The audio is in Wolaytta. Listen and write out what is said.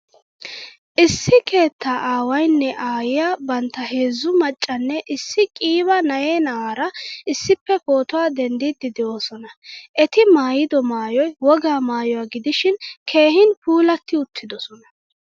Issi keettaa aawaynne aayiyaa bantta heezzu maccanne issi qiiba na'ee na'aara issippe pootuwaa denddidi deosona. Etti maayido maayoy wogaa maayuwaa gidishin keehin puulatti-uttidosona.